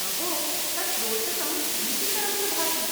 अहो, तत् रोचकं भीतिकरं च भाति।